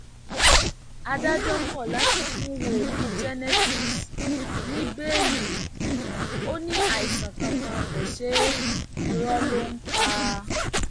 adájọ kọ láti fún wòlíì genesis ní bẹẹlí ò ní àìsàn kankan kò ṣe é irọ ló ń ń pa